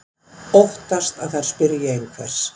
Óttast að þær spyrji einhvers.